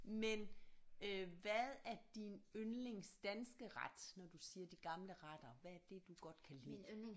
Men øh hvad er din yndlings danske ret når du siger de gamle retter hvad er det du godt kan lide